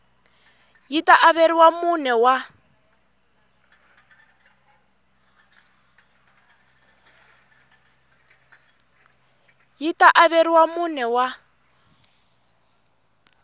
yi ta averiwa mune wa